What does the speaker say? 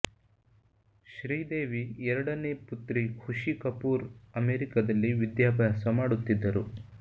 ಶ್ರೀದೇವಿ ಎರಡನೇ ಪುತ್ರಿ ಖುಷಿ ಕಪೂರ್ ಅಮೆರಿಕದಲ್ಲಿ ವಿದ್ಯಾಭಾಸ ಮಾಡುತ್ತಿದ್ದರು